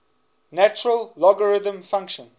natural logarithm function